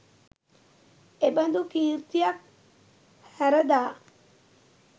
එබඳු කීර්තියක් හැරදා